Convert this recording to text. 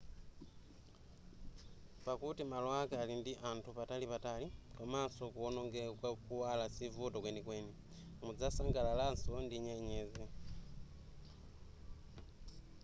pakuti malo ake ali ndi anthu patalipatali komanso kuwonongeka kwa kuwala sivuto kwenikweni mudzasangalalanso ndi nyenyezi